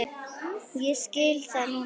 Ég skil það núna.